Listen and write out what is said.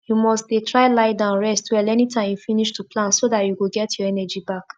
you must dey try lie down rest well anytime you finish to plant so dat you go get your energy back